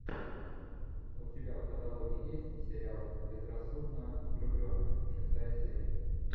у тебя в каталоге есть сериал безрассудно влюбленные шестая серия